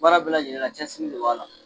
Baara bɛ lajɛlenna cɛsiri de b'a la.